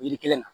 Yiri kelen na